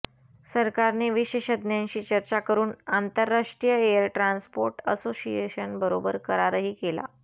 सरकारने विशेषज्ञांशी चर्चा करून आंतरराष्ट्रीय एअर ट्रान्सपोर्ट असोसिएशन बरोबर करारही केला